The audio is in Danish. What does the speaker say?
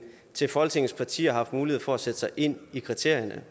til folketingets partier har haft mulighed for at sætte sig ind i kriterierne